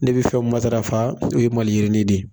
Ne bɛ fɛn min matarafa o ye maliyirini de ye.